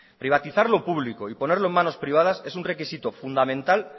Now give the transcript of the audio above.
privatizar lo público y ponerlo en manos privadas es un requisito fundamental